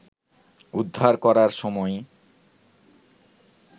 উদ্ধার করার সময়